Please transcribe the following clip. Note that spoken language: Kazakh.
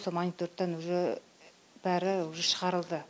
сол мониторингтан уже бәрі уже шығарылды